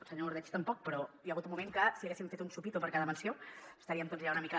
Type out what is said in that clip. el senyor ordeig tampoc però hi ha hagut un moment que si haguéssim fet un xupito per cada menció estaríem tots ja una mica